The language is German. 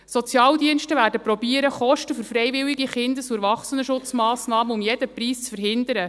Die Sozialdienste werden versuchen, Kosten für freiwillige Kindes- und Erwachsenenschutzmassnahmen um jeden Preis zu verhindern.